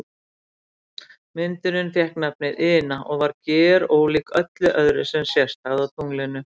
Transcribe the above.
Myndunin fékk nafnið Ina og var gerólík öllu öðru sem sést hafði á tunglinu.